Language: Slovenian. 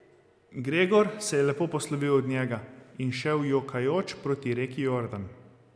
Gregor se je lepo poslovil od njega in šel jokajoč proti reki Jordan.